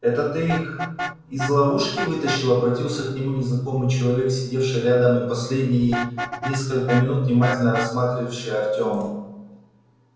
это ты их из ловушки вытащил обратился к нему незнакомый человек сидевший рядом и последние несколько минут внимательно рассматривавший артёма